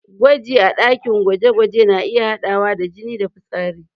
Gwaji a ɗakin gwaje-gwaje na iya haɗawa da jini da fitsari.